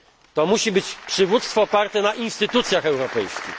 To musi być przywództwo oparte na instytucjach europejskich.